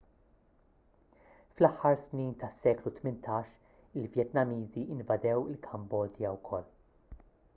fl-aħħar snin tas-seklu 18 il-vjetnamiżi invadew il-kambodja wkoll